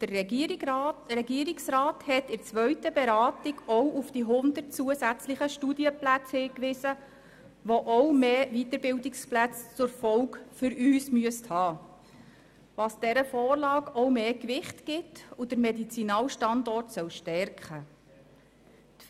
Der Regierungsrat hat in der zweiten Beratung auch auf die 100 zusätzlichen Studienplätze hingewiesen, die für uns auch mehr Weiterbildungsplätze zur Folge haben müssten, was dieser Vorlage mehr Gewicht gibt und den Medizinalstandort stärken soll.